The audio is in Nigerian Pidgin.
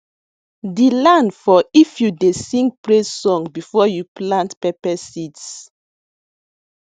de land for if you dey sing praise song before you plant pepper seeds